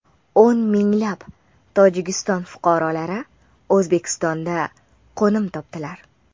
O‘n minglab Tojikiston fuqarolari O‘zbekistonda qo‘nim topdilar.